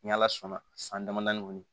Ni ala sɔnna san dama kɔni